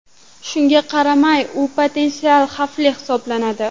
Shunga qaramay, u potensial xavfli hisoblanadi.